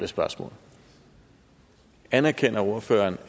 spørgsmål anerkender ordføreren